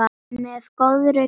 Með góðri kveðju